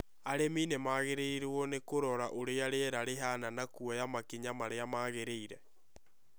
Arĩmi nĩ magĩrĩirũo nĩ kũrora ũrĩa rĩera rĩhaana na kuoya makinya marĩa magĩrĩire.